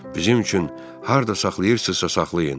Bizim üçün harda saxlayırsınızsa, saxlayın.